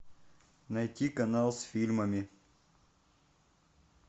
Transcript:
найти канал с фильмами